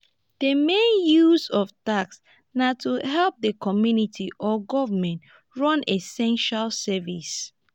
di main uses of tax na to help di community or government run essential services